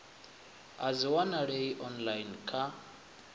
a dzi wanalei online kha